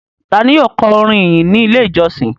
Ta ni yóò kọ orin ìyìn ní Ilé-ìjọsìn?